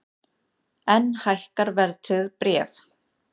Enn hækka verðtryggð bréf